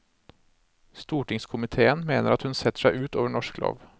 Stortingskomitéen mener at hun setter seg ut over norsk lov.